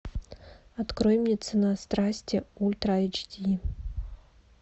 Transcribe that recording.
открой мне цена страсти ультра эйч ди